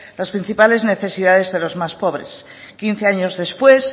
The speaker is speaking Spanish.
las principales necesidades de los más pobres quince años después